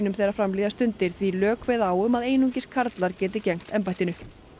þegar fram líða stundir því lög kveða á um að einungis karlar geti gegnt embættinu